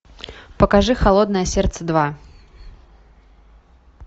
покажи холодное сердце два